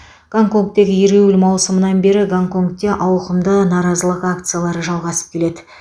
гонконгтегі ереуіл маусымнан бері гонконгте ауқымды наразылық акциялары жалғасып келеді